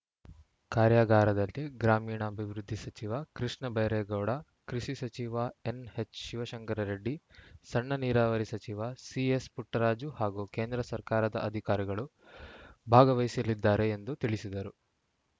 ಕಾರ್ಯಾಗಾರದಲ್ಲಿ ಗ್ರಾಮೀಣಾಭಿವೃದ್ಧಿ ಸಚಿವ ಕೃಷ್ಣ ಬೈರೇಗೌಡ ಕೃಷಿ ಸಚಿವ ಎನ್‌ಎಚ್‌ ಶಿವಶಂಕರರೆಡ್ಡಿ ಸಣ್ಣ ನೀರಾವರಿ ಸಚಿವ ಸಿಎಸ್‌ ಪುಟ್ಟರಾಜು ಹಾಗೂ ಕೇಂದ್ರ ಸರ್ಕಾರದ ಅಧಿಕಾರಿಗಳು ಭಾಗವಹಿಸಲಿದ್ದಾರೆ ಎಂದು ತಿಳಿಸಿದರು